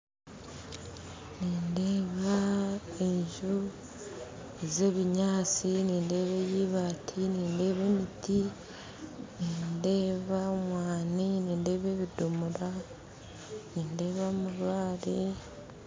Nindeeba enju zebinyansi nindeeba eya ibaati nindeeba emiti nindeeba omwani nindeeba ebidomora nindeeba amabaare